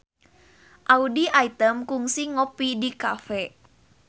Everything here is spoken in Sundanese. Audy Item kungsi ngopi di cafe